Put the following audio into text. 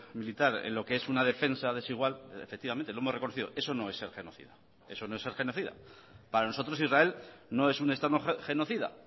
militar en lo que es una defensa desigual efectivamente lo hemos reconocido eso no es ser genocida eso no es ser genocida para nosotros israel no es un estado genocida